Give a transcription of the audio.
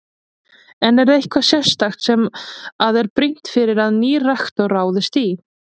En er eitthvað sérstakt sem að er brýnt að nýr rektor ráðist í?